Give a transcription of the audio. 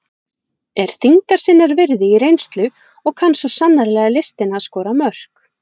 Er þyngdar sinnar virði í reynslu og kann svo sannarlega listina að skora mörk.